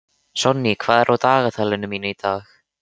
Sonný, hvað er á dagatalinu mínu í dag?